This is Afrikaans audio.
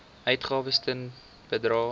uitgawes ten bedrae